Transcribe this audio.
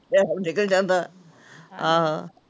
Time ਨਿਕਲ ਜਾਂਦਾ, ਹਾਂ